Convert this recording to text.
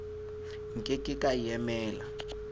nke ke ka e emela